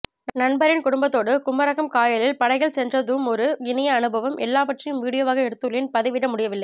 நண்பரின் குடும்பத்தோடு குமரகம் காயலில் படகில் சென்றதுமொரு இனிய அனுபவம் எல்லாவற்றையும் வீடியோவாக எடுத்துள்ளேன் பதிவிட முடியவில்லை